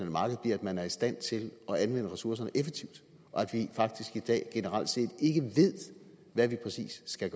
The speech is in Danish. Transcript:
marked bliver at man er i stand til at anvende ressourcerne effektivt og at vi faktisk i dag generelt set ikke ved hvad vi præcis skal